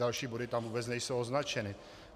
Další body tam vůbec nejsou označeny.